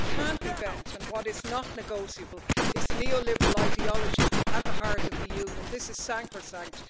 But what can't be bent, and what is not negotiable, is the neoliberal ideology at the heart of the Union, this is sacrosanct.